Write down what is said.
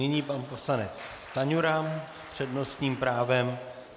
Nyní pan poslanec Stanjura s přednostním právem.